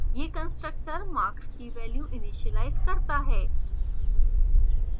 यह constructor marks की value initialise करता है